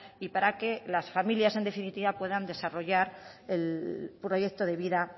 y para que las familias en definitiva pueden desarrollar el proyecto de vida